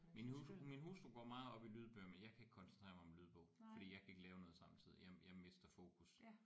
Min hustru min hustru går meget op i lydbøger men jeg kan ikke koncentrere mig om en lydbog fordi jeg kan ikke lave noget samtidig jeg jeg mister fokus